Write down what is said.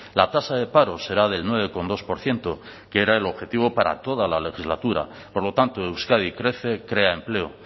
la tasa de paro será del nueve coma dos por ciento que era el objetivo para toda la legislatura por lo tanto euskadi crece crea empleo